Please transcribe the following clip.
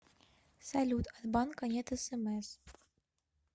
салют от банка нет смс